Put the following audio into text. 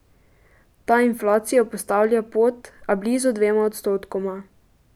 Ta inflacijo postavlja pod, a blizu dvema odstotkoma.